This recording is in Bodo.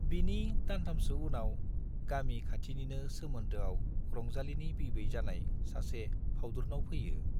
बिनि दानथामसो उनाव गामि खाथिनिनो सोमोन्दोआव रंजालीनि बिबै जानाय सासे फाउदुरनाव फैयो।